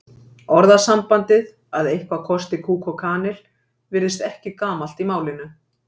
Orðasambandið að eitthvað kosti kúk og kanil virðist ekki gamalt í málinu.